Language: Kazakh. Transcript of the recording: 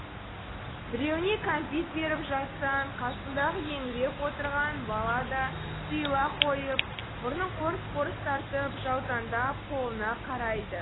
біреуіне кәмпит беріп жатсаң қасындағы еңіреп отырған бала да тыйыла қойып мұрнын қорс қорс тартып жаутаңдап қолыңа қарайды